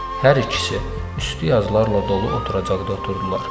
Hər ikisi üstü yazılarla dolu oturacaqda oturdular.